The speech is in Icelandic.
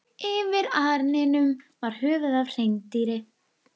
Yfir arninum var höfuð af hreindýri.